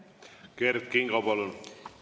Kert Kingo, palun!